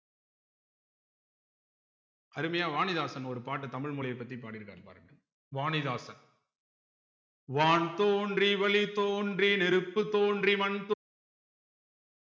அருமையா வாணிதாசன் ஒரு பாட்ட தமிழ் மொழியைப் பத்தி பாடியிருக்காரு பாருங்க வாணிதாசன் வான் தோன்றி வழி தோன்றி நெருப்பு தோன்றி வன் தோ